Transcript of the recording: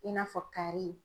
I n'a fɔ kari.